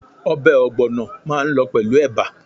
Obè ògbònà máa n lo pèlú eba